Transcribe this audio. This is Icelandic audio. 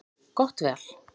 Gott val.